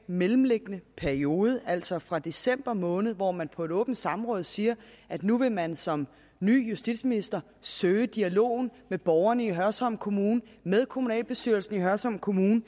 mellemliggende periode altså fra december måned hvor man på et åbent samråd siger at nu vil man som ny justitsminister søge dialogen med borgerne i hørsholm kommune og med kommunalbestyrelsen i hørsholm kommune